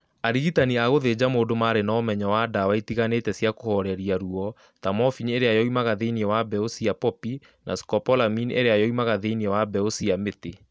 Arigitani a gũthinja mũndũ maarĩ na ũmenyo wĩgiĩ ndawa itiganĩte cia kũhooreria ruo, ta morphine ĩrĩa yoimaga thĩinĩ wa mbeũ cia poppy na scopolamine ĩrĩa yoimaga thĩinĩ wa mbeũ cia mĩtĩ.